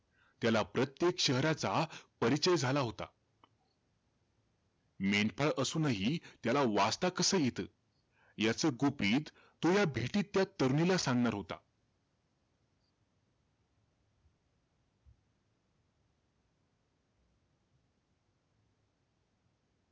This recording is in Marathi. त्याला प्रत्येक शहराचा परिचय झाला होता. मेंढपाळ असूनही, त्याला वाचता कसं येतं? याचं गुपित, तो या भेटीत, त्या तरुणीला सांगणार होता.